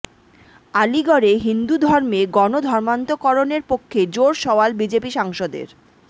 আলিগড়ে হিন্দু ধর্মে গণ ধর্মান্তকরণের পক্ষে জোর সওয়াল বিজেপি সাংসদের